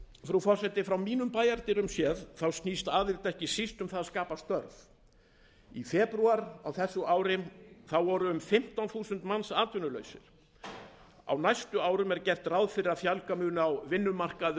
frú forseti frá mínum bæjardyrum séð snýst aðild ekki síst um það að skapa störf í febrúar á þessu ári voru um fimmtán þúsund manns atvinnulausir á næstu árum er gert ráð fyrir að fjölga muni á vinnumarkaði